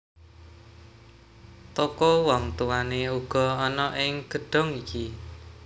Toko wong tuwané uga ana ing gedhong iki